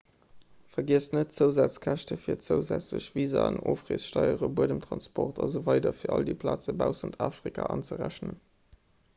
vergiesst net d'zousazkäschte fir zousätzlech visaen ofreessteieren buedemtransport asw fir all déi plaze baussent afrika anzerechnen